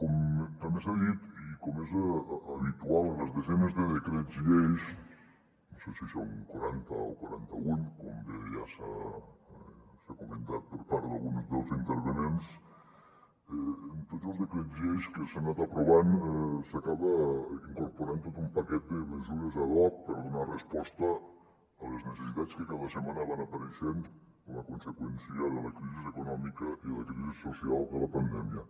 com també s’ha dit i com és habitual en les desenes de decrets lleis no sé si són quaranta o quaranta un com bé ja s’ha comentat per part d’alguns dels intervinents en tots els decrets lleis que s’han anat aprovant s’acaba incorporant tot un paquet de mesures ad hoc per donar resposta a les necessitats que cada setmana van apareixent com a conseqüència de la crisi econòmica i la crisi social de la pandèmia